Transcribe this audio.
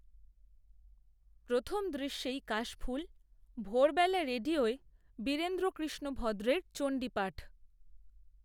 প্রথম দৃশ্যেই কাশফুল ভোরবেলা রেডিওয় বীরেন্দ্রকৃষ্ণ ভদ্রের চণ্ডীপাঠ